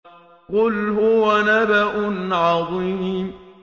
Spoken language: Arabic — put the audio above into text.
قُلْ هُوَ نَبَأٌ عَظِيمٌ